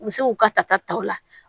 U bɛ se k'u ka tata ta u la